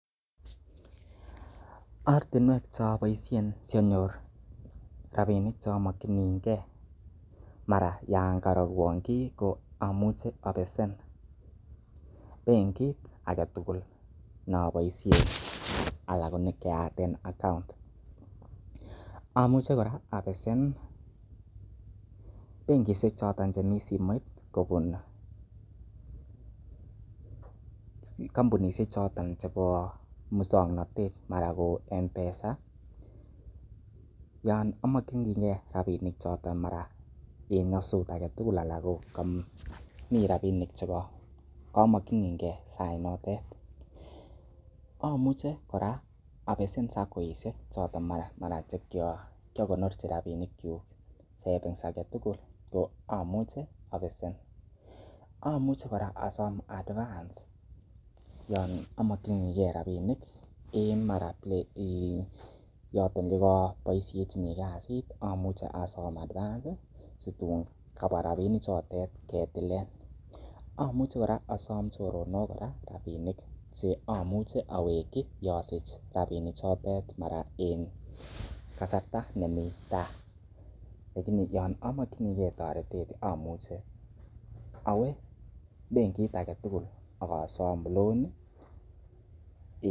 Ortinwek che aboisien asianyor rabinik che omokinige mara yan karorwon kiy, ko amuche abesen benkit age tugul ne aboisien anan ko ne ki ayaten account amuche kora abesen bengishek choton chemi simoit kobun kompunishek choton chebo muswoknatet, mara ko M-Pesa yon amokininge rabinik chotn mara ko en nyosut anan ko komi rabinik che komokinige sainotet amuche kora abesen saccoishek choton che kiagonoren rabinik kyuk savings age tugul ko amuchi abesen. AMuch ekora asom advance yon amokinige rabinik en mara yoton ko koboishejini kasit amuche asom advance situn kabwa rabinik chotet ketilen. AMuche kora asom choronok kora rabinik che amuch eaweki yosich rabinik chotet mara en kasarta nemi tai. yon amakininge torett amuche awo benkit ag etugul ak asom loan